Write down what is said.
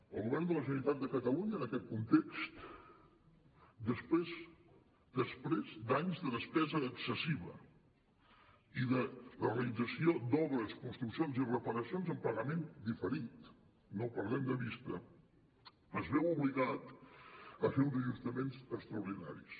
el govern de la generalitat de catalunya en aquest context després d’anys de despesa excessiva i de la realització d’obres construccions i reparacions en pagament diferit no ho perdem de vista es veu obligat a fer uns ajustaments extra ordinaris